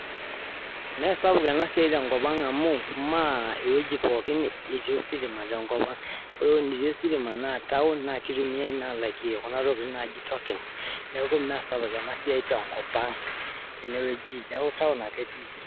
ime sapuk ena siai tenkop ang amuu metii ositma neeku imesauk tenkop ang town ake etii